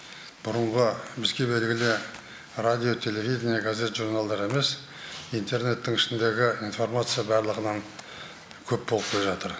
бұрынғы бізге белгілі радио телевидение газет журналдар емес интернеттің ішіндегі информация барлығынан көп болып келе жатыр